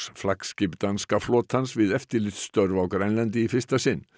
flaggskip danska flotans við eftirlitsstörf á Grænlandi í fyrsta sinn